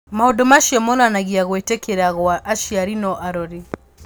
Maũndũ macio monanagia gũĩtĩkĩra gwa aciari na arori.